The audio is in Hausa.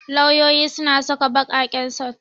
Lauyoyi suna saka baƙaƙen sut.